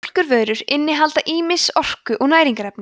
mjólkurvörur innihalda ýmis orku og næringarefni